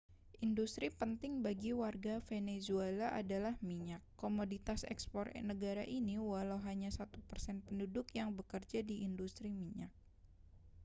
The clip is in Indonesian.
industri penting bagi warga venezuela adalah minyak komoditas ekspor negara ini walau hanya satu persen penduduk yang bekerja di industri minyak